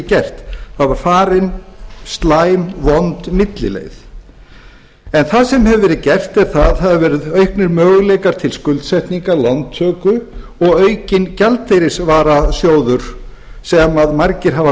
gert það var farin slæm vond millileið það sem hefur verið gert er að það hafa verið auknir möguleikar til skuldsetninga lántöku og aukinn gjaldeyrisvarasjóður sem margir hafa